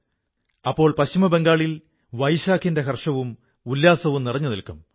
അപ്പോൾ പശ്ചിമബംഗാളില് പോയിലാ വൈശാഖിന്റെ ഹർഷവും ഉല്ലാസവും നിറഞ്ഞുനിൽക്കും